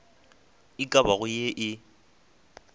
e ka bago ye e